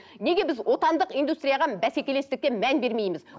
неге біз отандық индустрияға бәсекелестікте мән бермейміз